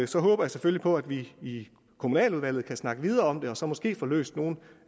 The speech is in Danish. så håber jeg selvfølgelig på at vi i kommunaludvalget kan snakke videre om det og så måske få løst nogle